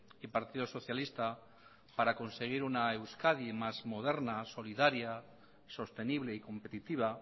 y partido socialista para conseguir una euskadi más moderna solidaria sostenible y competitiva